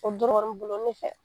O dɔrɔnin bolo ne fɛ.